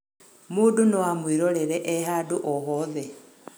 mũndũ noamwĩrorere e handũ o hothe